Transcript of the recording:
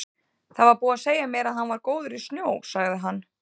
Það var búið að segja mér að hann væri góður í snjó, sagði hann.